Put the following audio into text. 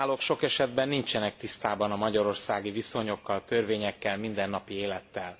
A bírálók sok esetben nincsenek tisztában a magyarországi viszonyokkal, törvényekkel, mindennapi élettel.